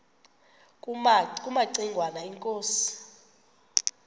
kumaci ngwana inkosi